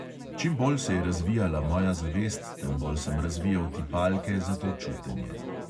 Čim bolj se je razvijala moja zavest, tem bolj sem razvijal tipalke za to čutenje.